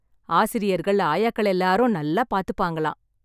ஆசிரியர்கள், ஆயாக்கள்எல்லாரும் நல்லா பாத்துப்பாங்களாம்.